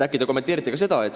Äkki te kommenteerite seda?